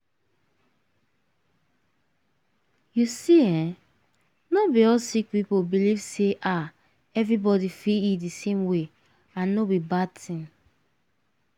you see eh not be all sick people believe ah say everybody fit eat di same way and no be bad tin.